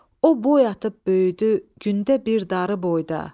O boy atıb böyüdü gündə bir darı boyda.